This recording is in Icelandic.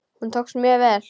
Hún tókst mjög vel.